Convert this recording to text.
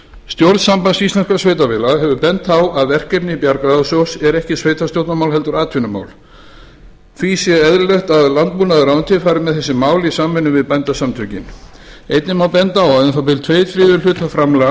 stjórn sambands íslenskum sveitarfélaga hefur bent á að verkefni bjargráðasjóðs eru ekki sveitarstjórnarmál heldur atvinnumál því sé eðlilegt að landbúnaðarráðuneytið fari með þessi mál í samvinnu við bændasamtökin einnig má benda á að um það bil tveir þriðju hlutar framlaga